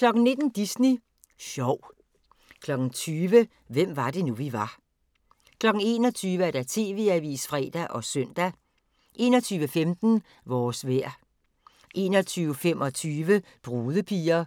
19:00: Disney Sjov 20:00: Hvem var det nu, vi var 21:00: TV-avisen (fre og søn) 21:15: Vores vejr 21:25: Brudepiger